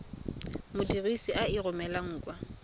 modirisi a e romelang kwa